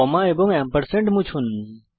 কমা এবং এম্পারস্যান্ড মুছুন